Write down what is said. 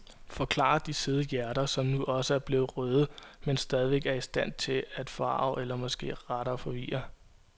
Forklarer de søde hjerter, som nu også er blevet røde, men stadigvæk er i stand til at forarge eller måske rettere forvirre.